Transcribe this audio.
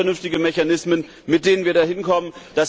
Wir brauchen vernünftige Mechanismen, mit denen wir dahin kommen.